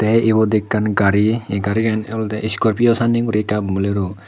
tey ibot ekkan gari ei garigan olodey iskorpio sanney guri tey ubon Bolero.